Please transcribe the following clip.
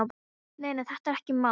Nei, nei, þetta er ekkert mál.